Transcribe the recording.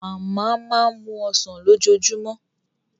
Màmá máa ń mu Ọsàn lójoojúmọ́